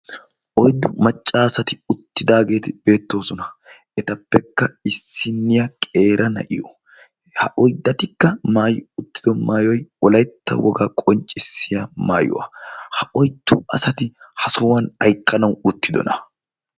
Oyddu maccaasati uttidaageeti beettoosona etappekka issinniya qeerana'iyo ha oyddatikka maayi uttido maayoy Wolaytta wogaa qonccissiya maayuwaa ha oyddu asati ha sohuwan aykkanawu uttidona?